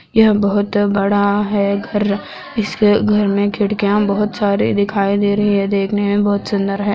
यह बहुत बड़ा है घर इसके घर में खिड़कियां बहुत सारे दिखाई दे रही है देखने में बहुत सूंदर है।